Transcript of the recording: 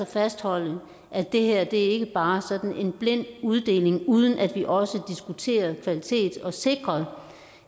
fastholde at det her ikke bare er sådan en blind uddeling uden at vi også diskuterer kvalitet og sikrer